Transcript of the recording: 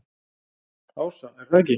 Ása: Er það ekki?